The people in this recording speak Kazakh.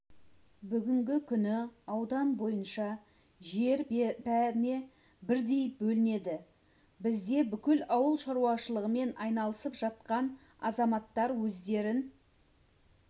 бүгінгі күні аудан бойынша жер бәріне бірдей бөлінді бізде бүкіл ауыл шаруашылығымен айналысып жатқан азаматтар өздерін